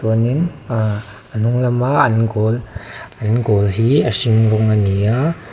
chuanin aaa a hnung lama an goal an goal hi a hring rawng a ni a.